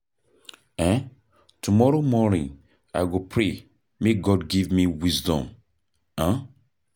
um Tomorrow morning, I go pray make God give me wisdom. um